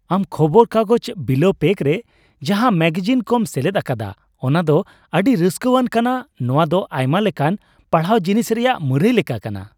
ᱟᱢ ᱠᱷᱚᱵᱚᱨ ᱠᱟᱜᱚᱡ ᱵᱤᱞᱟᱹᱣ ᱯᱮᱠ ᱨᱮ ᱡᱟᱦᱟᱸ ᱢᱮᱜᱟᱡᱤᱱ ᱠᱚᱢ ᱥᱮᱞᱮᱫ ᱟᱠᱟᱫᱟ ᱚᱱᱟᱫᱚ ᱟᱹᱰᱤ ᱨᱟᱹᱥᱠᱟᱹᱣᱟᱱ ᱠᱟᱱᱟ ᱾ ᱱᱚᱣᱟᱫᱚ ᱟᱭᱢᱟ ᱞᱮᱠᱟᱱ ᱯᱟᱲᱦᱟᱣ ᱡᱤᱱᱤᱥ ᱨᱮᱭᱟᱜ ᱢᱩᱨᱟᱹᱭ ᱞᱮᱠᱟ ᱠᱟᱱᱟ ᱾